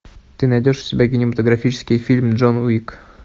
ты найдешь у себя кинематографический фильм джон уик